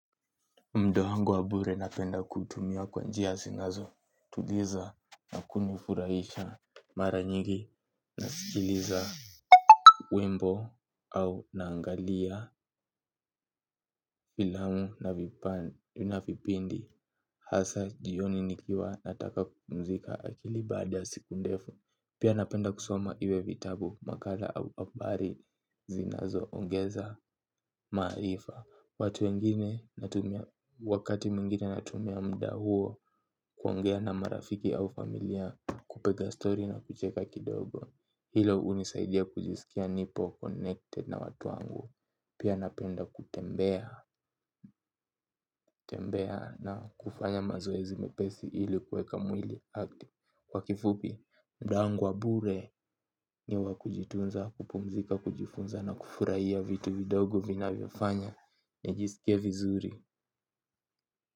Muda wangu wa bure napenda kuutumia kwa njia zinazo tuliza na kunifurahisha mara nyigi nasikiliza wimbo au naangalia filamu na vipindi hasa jioni nikiwa nataka kupumzika akili baada ya siku ndefu. Pia napenda kusoma iwe vitabu makala au habari zinazo ongeza maarifa. Watu wengine wakati mwingine natumia mda huo kuongea na marafiki au familia kupiga story na kucheka kidogo. Hilo hunisaidia kujisikia nipo connected na watu wangu. Pia napenda kutembea na kufanya mazoezi mepesi ili kueka mwili active. Kwa kifupi, muda wangu wa bure ni wa kujitunza, kupumzika, kujifunza na kufurahia vitu vidogo vinavyofanya nijisikie vizuri.